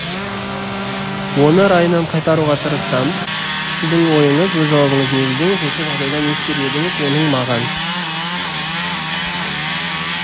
оны райынан қайтаруға тырысам сіздің ойыңыз өз жауабыңызды негіздеңіз осы жағдайда не істер едің оның маған